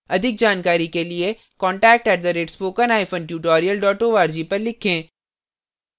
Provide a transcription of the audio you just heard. अधिक जानकारी के लिए contact @spokentutorial org पर लिखें